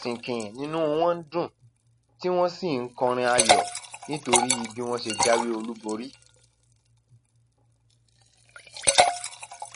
sinkin ni inú wọn ń dùn tí wọn sì ń kọrin ayọ nítorí bí wọn ṣe jáwé olúborí